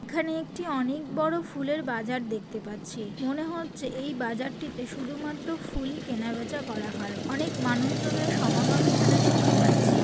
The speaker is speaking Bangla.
এখানে একটি অনেক বড়ো ফুলের বাজার দেখতে পাচ্ছি। মনে হচ্ছে এই বাজারটিতে শুধুমাত্র ফুলই কেনাবেচা করা হয়। অনেক মানুষ জনের সমাগম এখানে দেখতে পাচ্ছি।